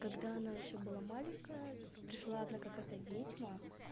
когда она ещё была маленькая пришла одна какая-то ведьма